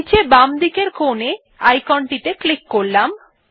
নীচে বামদিকের কোণের icon টিতে ক্লিক করলাম